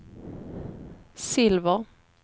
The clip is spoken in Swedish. silver